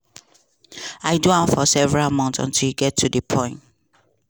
i do am for several months until e get to di point